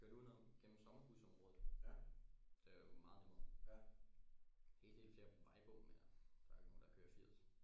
Kørte udenom gennem sommerhusområdet det er jo meget nemmere en hel del flere vejbump men jeg der er jo ikke nogen der kører firs